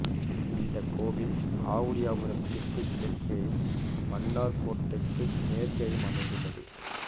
இந்தக் கோவில் ஆவுடையபுரத்திற்குக் கிழக்கேயும் மன்னார் கோட்டைக்கு மேற்கேயும் அமைந்துள்ளது